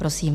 Prosím.